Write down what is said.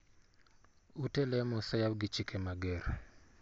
Ute lemo oseyaw gi chike mager.